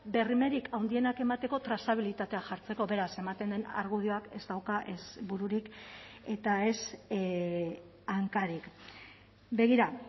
bermerik handienak emateko trazabilitatea jartzeko beraz ematen den argudioak ez dauka ez bururik eta ez hankarik begira